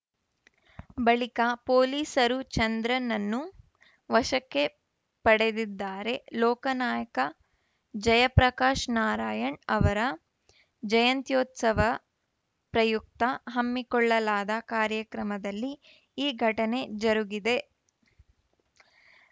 ಬಳಿಕ ಪೊಲೀಸರು ಚಂದ್ರನನ್ನು ವಶಕ್ಕೆ ಪಡೆದಿದ್ದಾರೆ ಲೋಕ ನಾಯಕ ಜಯಪ್ರಕಾಶ್‌ ನಾರಾಯಣ್‌ ಅವರ ಜಯಂತ್ಯೋತ್ಸವ ಪ್ರಯುಕ್ತ ಹಮ್ಮಿಕೊಳಲಾದ ಕಾರ್ಯಕ್ರಮದಲ್ಲಿ ಈ ಘಟನೆ ಜರುಗಿದೆ